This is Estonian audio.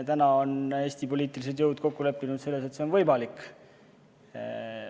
Täna on Eesti poliitilised jõud kokku leppinud selles, et soovahetus on võimalik.